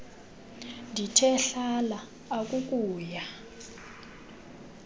ndithe hlala akuukuya